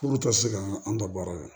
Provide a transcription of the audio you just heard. K'olu ka se ka an ka baara kɛ